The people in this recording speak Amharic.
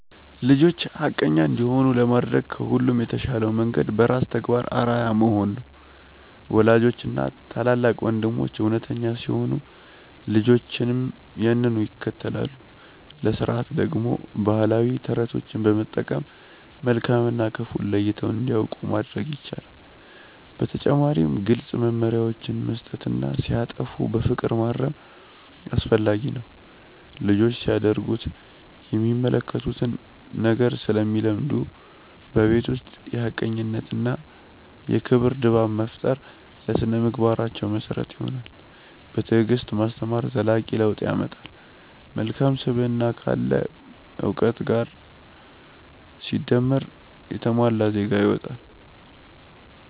ልጆች ሐቀኛ እንዲሆኑ ለማድረግ ከሁሉ የተሻለው መንገድ በራስ ተግባር አርአያ መሆን ነው። ወላጆችና ታላላቅ ወንድሞች እውነተኛ ሲሆኑ ልጆችም ያንኑ ይከተላሉ። ለሥርዓት ደግሞ ባህላዊ ተረቶችን በመጠቀም መልካም እና ክፉን ለይተው እንዲያውቁ ማድረግ ይቻላል። በተጨማሪም ግልጽ መመሪያዎችን መስጠትና ሲያጠፉ በፍቅር ማረም አስፈላጊ ነው። ልጆች ሲያደርጉት የሚመለከቱትን ነገር ስለሚለምዱ፣ በቤት ውስጥ የሐቀኝነትና የክብር ድባብ መፍጠር ለሥነ-ምግባራቸው መሰረት ይሆናል። በትዕግስት ማስተማር ዘላቂ ለውጥ ያመጣል። መልካም ስብዕና ካለ እውቀት ጋር ሲደመር የተሟላ ዜጋ ይወጣል።